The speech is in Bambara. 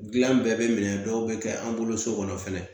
Gilan bɛɛ be minɛ dɔw be kɛ an bolo so kɔnɔ fɛnɛ